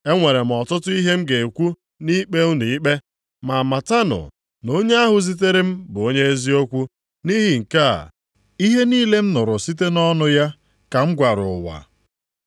E nwere m ọtụtụ ihe m ga-ekwu nʼikpe unu ikpe. Ma matanụ na onye ahụ zitere m bụ onye eziokwu. Nʼihi nke a, ihe niile m nụrụ site nʼọnụ ya ka m gwara ụwa.”